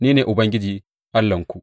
Ni ne Ubangiji Allahnku.